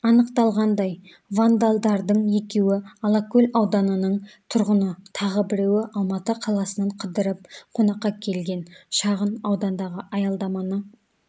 анықталғандай вандалдардың екеуі алакөл ауданының тұрғыны тағы біреуі алматы қаласынан қыдырып қонаққа келген шағын аудандағы аялдаманы